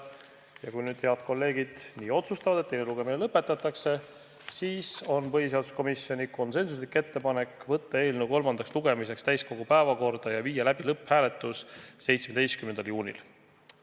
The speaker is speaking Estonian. Ja kui nüüd head kolleegid nii otsustavad, et teine lugemine lõpetatakse, siis on põhiseaduskomisjoni konsensuslik ettepanek võtta eelnõu kolmandaks lugemiseks täiskogu päevakorda ja viia läbi lõpphääletus 17. juunil.